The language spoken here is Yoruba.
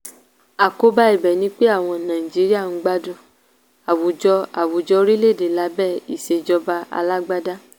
àkóbá ibẹ̀ ni pé àwọn nàìjíríà ń gbádùn àwùjọ àwùjọ orílẹ̀ èdè lábẹ́ ìsèjọba alágbádá.